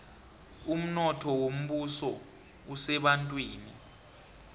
umnotho wombuso usebantwini